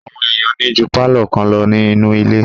Àwọn èèyàn ní ju pálọ̀ kan lọ nínu ilé